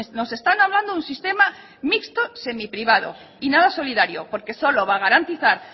nos están hablando de un sistema mixto semiprivado y nada solidario porque solo va a garantizar